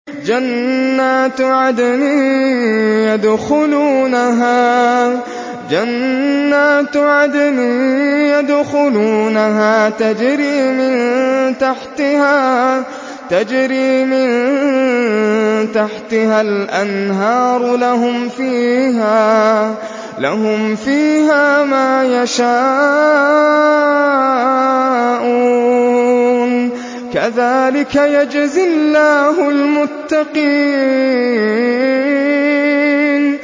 جَنَّاتُ عَدْنٍ يَدْخُلُونَهَا تَجْرِي مِن تَحْتِهَا الْأَنْهَارُ ۖ لَهُمْ فِيهَا مَا يَشَاءُونَ ۚ كَذَٰلِكَ يَجْزِي اللَّهُ الْمُتَّقِينَ